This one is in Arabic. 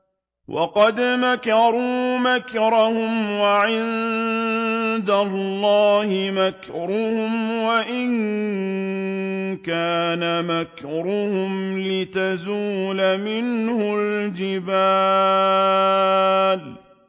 وَقَدْ مَكَرُوا مَكْرَهُمْ وَعِندَ اللَّهِ مَكْرُهُمْ وَإِن كَانَ مَكْرُهُمْ لِتَزُولَ مِنْهُ الْجِبَالُ